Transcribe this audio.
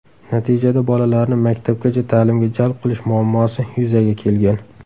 Natijada bolalarni maktabgacha ta’limga jalb qilish muuammosi yuzaga kelgan.